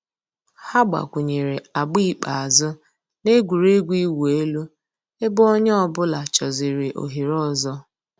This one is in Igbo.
Hà gbàkwùnyèrè àgbà ikpeazụ̀ nà ègwè́régwụ̀ ị̀wụ̀ èlù ebe ònyè ọ̀bula chọ̀zị̀rị̀ òhèrè òzò.